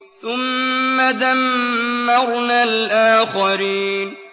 ثُمَّ دَمَّرْنَا الْآخَرِينَ